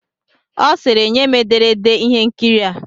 Ọ sịịrị, nye m ederede ihe nkiri a!